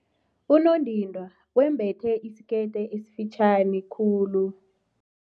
Unondindwa wembethe isikete esifitjhani khulu.